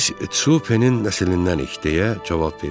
Biz Tsupenin nəsillindənik, deyə cavab verdim.